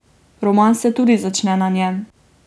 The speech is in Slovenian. Roman se tudi začne na njem.